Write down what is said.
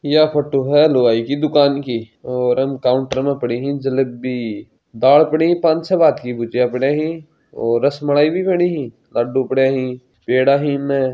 यह फोटो है लुगाई की दुकान की और काउन्टर पर पड़ी है जलेबी दाल पड़ी है पाँच छः भांत की भुजिया पड़ी है और रसमालाई भी पड़ी है लड्डू पडया है पेड़ा है इम --